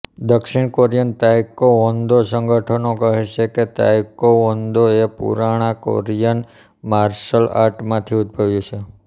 દક્ષિણ Korean taekwondo સંગઠનો કહે છે કે તાઈકૉવોન્દો એ પુરાણા કોરિયન માર્શલ આર્ટમાંથી ઉદ્ભવ્યું છે